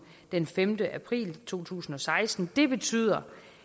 den femte april to tusind og seksten det betyder